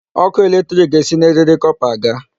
Ọkụ electric ga-esi na eriri copper aga.